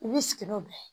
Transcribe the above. I b'i sigi n'o bɛɛ ye